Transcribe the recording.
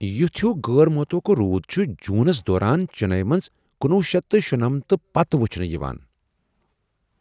یُتھ ہِیو غٲر مُتوقع روٗد چُھ جونس دوران چنئی منٛز کنُوُہ شیتھ تہٕ شُنٔمتھ پتہٕ وچھنہٕ یوان۔